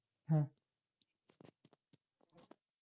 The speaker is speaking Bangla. হ্যাঁ